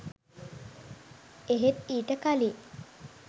එහෙත් ඊට කළින්